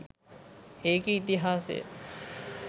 ඒකෙ ඉතිහාසය